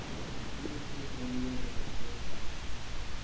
tio tusen niohundrasextioåtta